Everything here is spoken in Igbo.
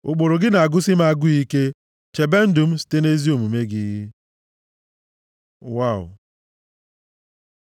Ụkpụrụ gị na-agụsị m agụụ ike! Chebe ndụ m site nʼezi omume gị. ו Waw